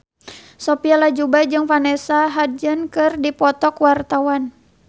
Sophia Latjuba jeung Vanessa Hudgens keur dipoto ku wartawan